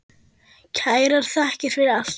Kærar þakkir fyrir allt.